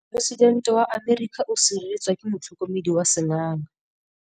Poresitêntê wa Amerika o sireletswa ke motlhokomedi wa sengaga.